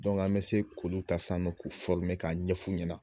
an bɛ se k'olu ta san nɔ k'o k'a ɲɛf'u ɲɛna.